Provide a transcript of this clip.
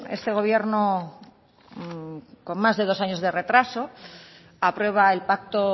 este gobierno con más de dos años de retraso aprueba el pacto